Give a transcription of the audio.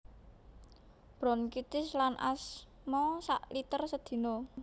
Bronkitis lan asma sak liter sedina